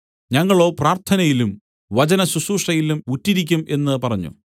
ഞങ്ങളോ പ്രാർത്ഥനയിലും വചനശുശ്രൂഷയിലും ഉറ്റിരിക്കും എന്ന് പറഞ്ഞു